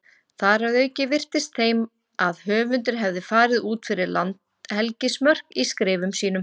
Þar að auki virtist þeim að höfundur hefði farið út fyrir landhelgismörk í skrifum sínum.